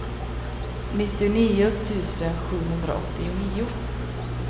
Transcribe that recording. nittionio tusen sjuhundraåttionio